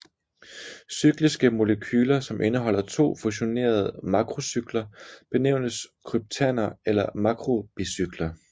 Cykliske molekyler som indeholder to fusionerede makrocykler benævnes kryptander eller makrobicykler